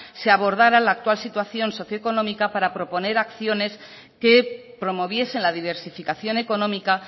se abordara la actual situación socioeconómica para proponer acciones que promoviesen la diversificación económica